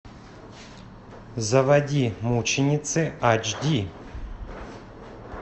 заводи мученицы ач ди